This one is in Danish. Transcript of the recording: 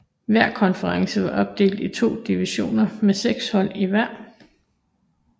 Hver konference var opdelt i to divisioner med seks hold i hver